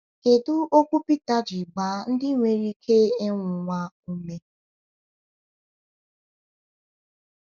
Kedu okwu Peter ji gbaa ndị nwere ike ịnwụnwa ume?